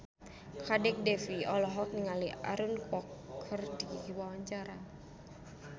Kadek Devi olohok ningali Aaron Kwok keur diwawancara